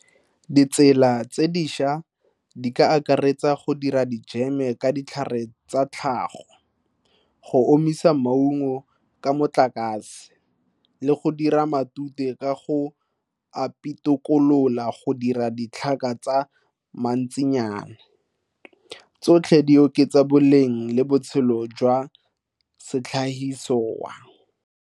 Ditsela tse dišwa di ka akaretsa go dira dijeme ka ditlhare tsa tlhago. Go omisa maungo ka motlakase. Le go dira matute ka go a pitokolola go dira ditlhaka tsa mantsinyana. Tsotlhe di oketsa boleng le botshelo jwa .